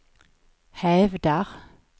hävdar